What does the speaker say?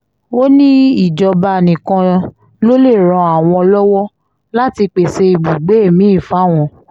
ó ní ìjọba nìkan ló lè ran àwọn lọ́wọ́ láti pèsè ibùgbé mi-ín fáwọn